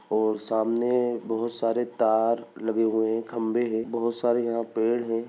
और सामने बहुत सारे तार लगे हुए हैं खम्बे हैं बहुत सारे यह पेड़ हैं।